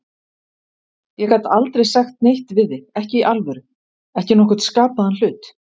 Ég gat aldrei sagt neitt við þig, ekki í alvöru, ekki nokkurn skapaðan hlut.